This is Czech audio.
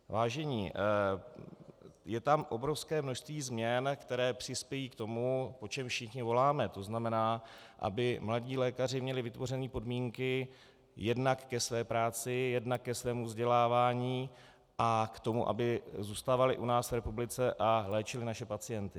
Vážení, je tam obrovské množství změn, které přispějí k tomu, po čem všichni voláme, to znamená, aby mladí lékaři měli vytvořeny podmínky jednak ke své práci, jednak ke svému vzdělávání a k tomu, aby zůstávali u nás v republice a léčili naše pacienty.